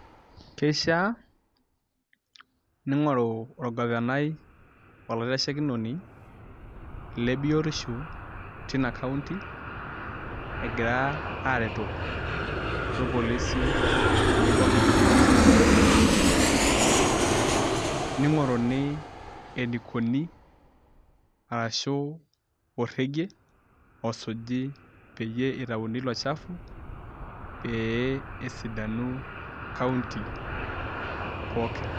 Kishaa ningoru orgavanai olaitashekinoni lebiotisho tina county egira areto orpolisi tenebo o county council ningoruni enikuni arashu orege osuji peyie itauni ilo shafu e pesidanu county pookin.